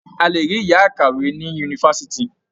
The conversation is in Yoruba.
A lè rí yàá ìkàwé ní yunifásitì.